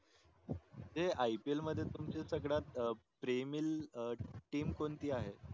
म्हणजे IPL मध्ये तुमची संगद्यात प्रेमील TEAM कोणती आहे